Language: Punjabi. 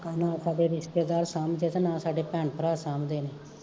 ਨਾ ਸਾਡੇ ਰਿਸਤੇਦਾਰ ਸਾਂਬਦੇ, ਤੇ ਨਾ ਸਾਡੇ ਭੈਣ ਭਰਾ ਸਾਂਬਦੇ ਨੇ